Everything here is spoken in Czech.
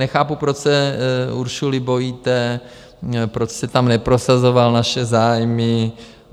Nechápu, proč se Ursuly bojíte, proč jste tam neprosazoval naše zájmy.